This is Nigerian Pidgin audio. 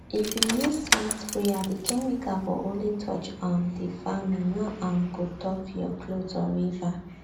if you use smart sprayer the chemical go only touch um the farmin no um go tough your clothe or river